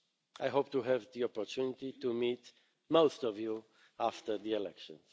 term. I hope to have the opportunity to meet most of you after the elections.